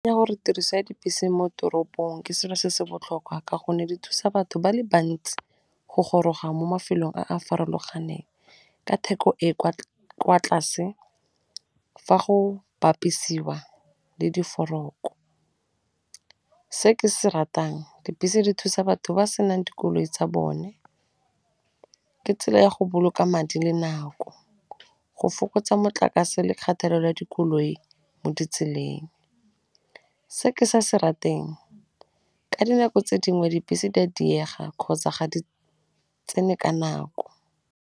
Ya gore tiriso ya dibese mo toropong ke selo se se botlhokwa ka gonne di thusa batho ba le bantsi go goroga mo mafelong a a farologaneng ka theko e kwa tlase fa go bapisiwa le di . Se ke se ratang, dibese di thusa batho ba senang dikoloi tsa bone, ke tsela ya go boloka madi le nako, go fokotsa motlakase le kgathelelo la dikoloi mo ditseleng. Se ke sa se rateng, ka dinako tse dingwe dibese di a diega kgotsa ga di tsene ka nako.